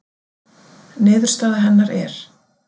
Niðurstaða hennar er: